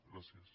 gràcies